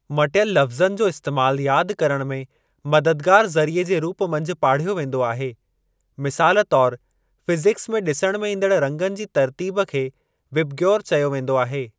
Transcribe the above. मटियल लफ़्ज़नि जो इस्तैमालु यादि करण में मददगारु ज़रिये जे रूप मंझि पाढ़ियो वेंदो आहे, मिसालु तौर फ़िज़िकस में ॾिसण में ईंदण रंगनि जी तर्तीब खे विबग्योर चयो वेंदो आहे।